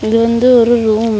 இது வந்து ஒரு ரூம் .